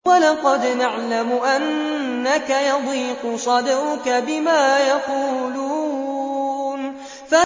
وَلَقَدْ نَعْلَمُ أَنَّكَ يَضِيقُ صَدْرُكَ بِمَا يَقُولُونَ